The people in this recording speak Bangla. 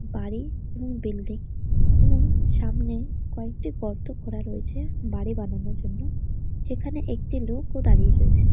বাড়ি এবং বিল্ডিং । এবং সামনে কয়েকটি গর্ত খোঁড়া রয়েছে বাড়ি বানানোর জন্য। যেখানে একটি লোক ও দাঁড়িয়ে রয়েছে।